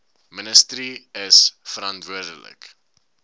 ministerie is verantwoordelik